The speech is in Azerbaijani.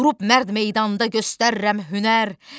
Durub mərd meydanda göstərirəm hünər.